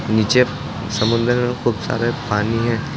नीचे समुद्र में खूब सारे पानी है।